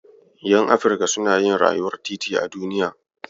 Ƴan Afrika suna yin rayuwar titi a duniya.